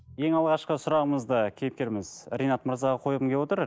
ең алғашқы сұрағымызды кейіпкеріміз ринат мырзаға қойғым келіп отыр